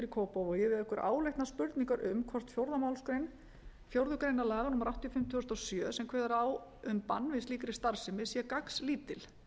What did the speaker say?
kópavogi vekur áleitnar spurningar um hvort fjórðu málsgrein fjórðu grein laga númer áttatíu og fimm tvö þúsund og sjö sem kveður á um bann við slíkri starfsemi sé gagnslítil